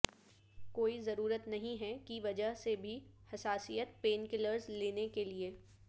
کوئی ضرورت نہیں ہے کی وجہ سے بھی حساسیت پینکلرس لینے کے لئے